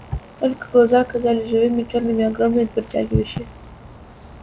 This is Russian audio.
только глаза казались живыми чёрными огромные притягивающие